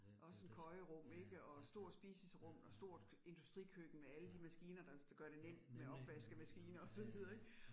Også en køjerum ik og stor spiserum og stort industrikøkken med alle de maskiner, der der gør det nemt med opvaskemaskine og så videre ik